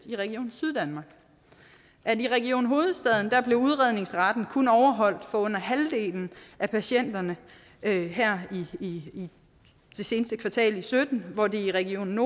i region syddanmark at i region hovedstaden blev udredningsretten kun overholdt for under halvdelen af patienterne i det seneste kvartal i sytten hvor det i region